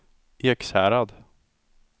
Ekshärad